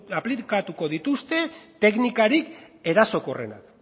aplikatuko dituzte teknikarik erasokorrenak